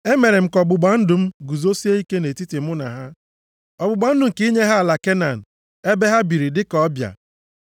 Emere m ka ọgbụgba ndụ m guzosie ike nʼetiti mụ na ha, ọgbụgba ndụ nke inye ha ala Kenan ebe ha biri dịka ndị ọbịa.